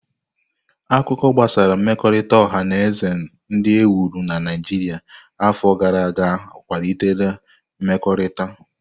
Akụkọ gbasara mmekọrịta ọha na eze ndị e wuru na Naijiria afọ gara aga kwalitere mmekọrịta.